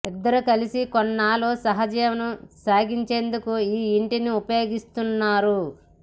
ఇద్దరూ కలిసి కొన్నాళ్లు సహాజీవనం సాగించేందుకే ఈ ఇంటిని ఉపయోగించనున్నారు